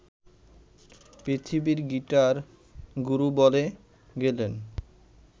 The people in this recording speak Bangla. পৃথিবীর গিটার-গুরু বনে গেলেন